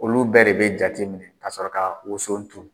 Olu bɛɛ de bɛ jate min ka sɔrɔ ka woso turu.